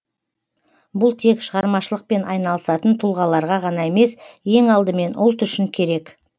бұл тек шығармашылықпен айналысатын тұлғаларға ғана емес ең алдымен ұлт үшін керек